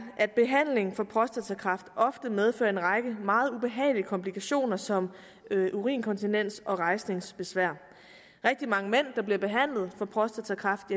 at behandling for prostatakræft ofte medfører en række meget ubehagelige komplikationer som urininkontinens og rejsningsbesvær rigtig mange mænd der bliver behandlet for prostatakræft